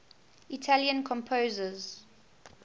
italian composers